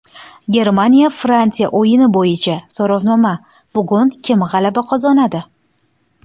Germaniya Fransiya o‘yini bo‘yicha so‘rovnoma: bugun kim g‘alaba qozonadi?.